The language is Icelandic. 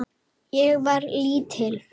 Ég var lítil.